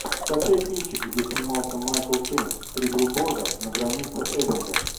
скачай кинчик где снимался майкл кейн три билборда на границе эбинга